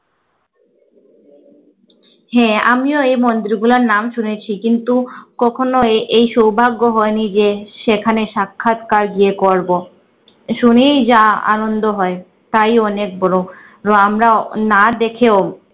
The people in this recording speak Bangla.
হ্যাঁ আমিও এই মন্দির গুলোর নাম শুনেছি কিন্তু কখনো এই এই সৌভাগ্য হয়নি যে সেখানে সাক্ষাৎকার গিয়ে করব। শুনেই যা আনন্দ হয় তাই অনেক বড় রো আমরা না দেখেও